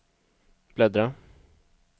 bläddra